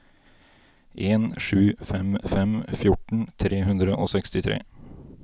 en sju fem fem fjorten tre hundre og sekstitre